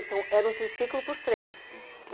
Então, era um triciclo para os três, uhum.